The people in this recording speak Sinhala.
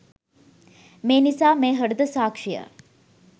මේ නිසා මේ හෘදය සාක්‍ෂිය